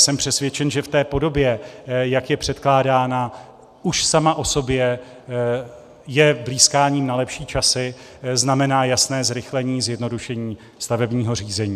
Jsem přesvědčen, že v té podobě, jak je předkládána, už sama o sobě je blýskáním na lepší časy, znamená jasné zrychlení, zjednodušení stavebního řízení.